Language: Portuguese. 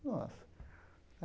Nossa.